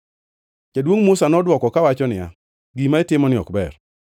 Jaduongʼ Musa nodwoko kawacho niya, “Gima itimoni ok ber.